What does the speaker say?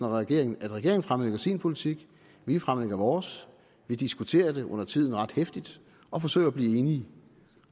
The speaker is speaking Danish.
regeringen fremlægger sin politik vi fremlægger vores vi diskuterer det undertiden ret heftigt og forsøger at blive enige